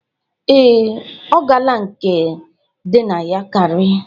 Ee, ọ gala nke dị na Yankarị